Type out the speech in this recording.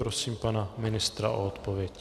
Prosím pana ministra o odpověď.